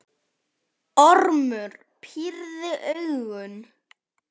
Ormur pírði augun.